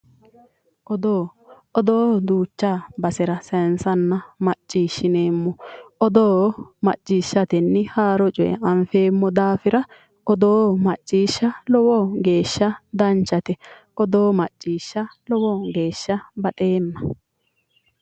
Odoo, odoo duucha basera saayiinsanna macciishineemmo. odoo macciishatenni haaro coye anfeemmo daafira odoo lowo geeshsha danchate. odoo macciishsha lowo geeshsha baxeemma.